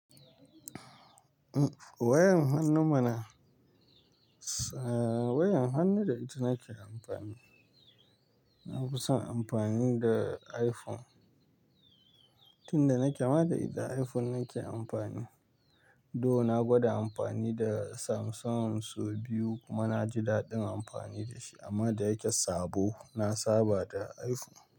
Wayar hannu mana, wayar hannu da ita nake amfani. Na fi son amfani da iPhone. Tun da nake ma da ita iPhone nake amfani. Dun na gwada amfani da Samsung sau biyu kuma na ji daɗin amfani da shi amma da ya ke sabo, na saba da iPhone.